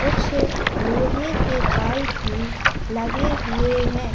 कुछ लोहे के पाइप भी लगे हुए हैं।